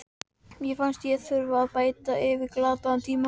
Mér fannst ég þurfa að bæta upp fyrir glataðan tíma.